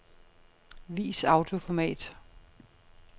Vis autoformat.